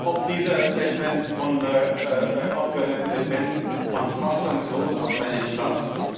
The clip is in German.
Ob dieser Statements der Abgeordneten Le Pen sitzt man fassungslos auf seinem Platz.